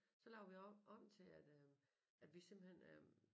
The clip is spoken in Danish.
Så lavede vi om om til at øh at vi simpelthen øh